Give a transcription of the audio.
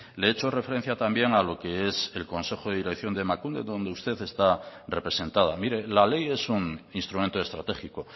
le he hecho referencia también a lo que es el consejo de dirección de emakunde donde usted está representada mire la ley es un instrumento estratégico